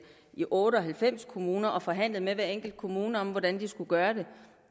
i otte og halvfems kommuner og forhandlet med hver enkelt kommune om hvordan de skulle gøre det